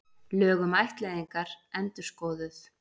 Lög um ættleiðingar endurskoðuð